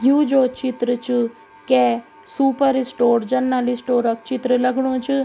यु जो चित्र च कै सुपर स्टोर जनरल स्टोर क चित्र लगणु च।